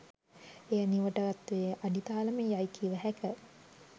එය නිවටත්වයේ අඩිතාලම යයි කිවහැක